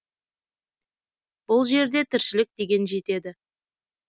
бұл жерде тіршілік деген жетеді